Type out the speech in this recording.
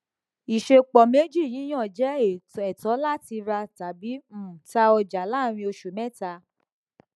ìṣẹpo méjì yíyàn jẹ ẹtọ láti rà tàbí um tá ọjà láàrín oṣù mẹta